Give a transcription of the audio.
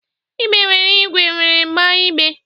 Ibe were iwe were gbaa igbe